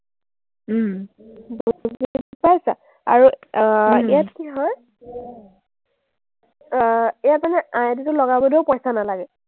বুজি পাইছা? আৰু আহ ইয়াত কি হয়, আহ ইয়াত মানে ID টো লগাবলেও পইচা নালাগে।